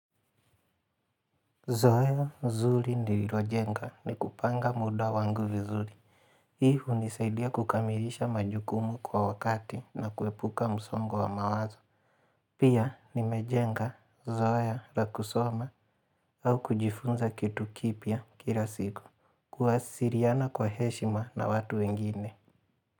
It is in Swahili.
Zoea mzuri nililojenga ni kupanga muda wangu vizuri. Hii hunisaidia kukamilisha majukumu kwa wakati na kuepuka msongo wa mawazo. Pia nimejenga, zoea, la kusoma au kujifunza kitu kipya kila siku. Kuwasiliana kwa heshima na watu wengine.